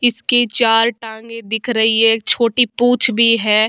इसकी चार टांगे दिख रही है एक छोटी पूछ भी है।